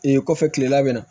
Ee kɔfɛ kilela bɛna na